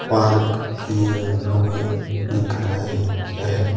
Park किए हुवे दिख रहे हैं।